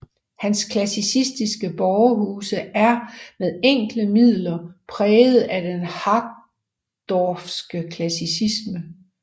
Hans klassicistiske borgerhuse er med enkle midler er præget af den harsdorffske klassicisme